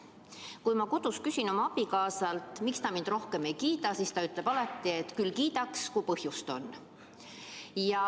Kui ma kodus küsin oma abikaasalt, miks ta mind rohkem ei kiida, siis ta ütleb alati, et küll kiidaks, kui põhjust oleks.